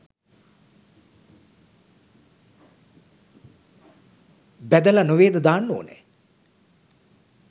බැදලා නෙවේද දාන්න ඕනෑ?